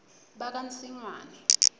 bakansingwane